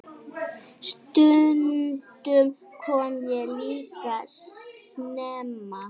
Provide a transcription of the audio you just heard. Stundum kom ég líka snemma.